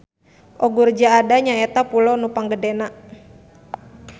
Ogurja Ada nyaeta pulo nu panggedena.